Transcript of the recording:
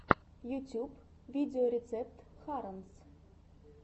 ютюб видеорецепт харонс